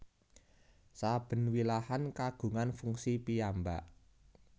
Saben wilahan kagungan fungsi piyambak